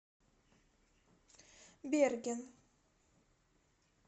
берген